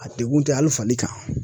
A degun tɛ hali fali kan.